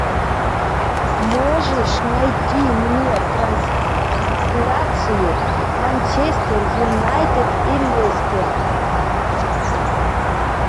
можешь найти мне трансляцию манчестер юнайтед и лестер